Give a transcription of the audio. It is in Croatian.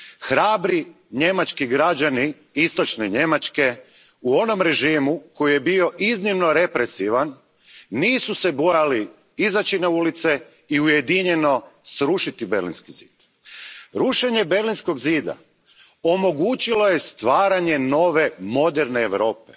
Hrabri njemački građani Istočne Njemačke, u onom režimu koji je bio iznimno represivan, nisu se bojali izaći na ulice i ujedinjeno srušiti Berlinski zid. Rušenje Berlinskog zida omogućilo je stvaranje nove, moderne Europe.